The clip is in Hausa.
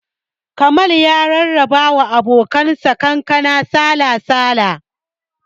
Jamal ya rarraba wa abokan sa kankana sala-sala